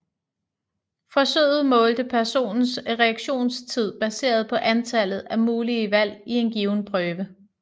Forsøget målte personens reaktionstid baseret på antallet af mulige valg i en given prøve